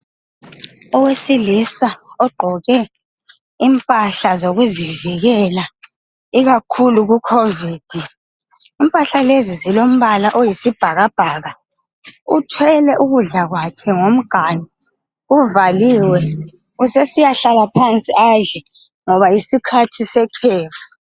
Owesilisa ogqoke impahla zokuzivikela ikakhulu kuCovid. Impahla lezi zilombala oyisibhakabhaka uthwele ukudla kwakhe ngomganu, uvaliwe ,usesiya hlala phansi adle ngoba yisikhathi sekhefu.